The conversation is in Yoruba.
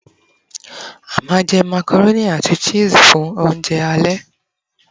a ma je macaroni ati cheese fun ounjẹ ale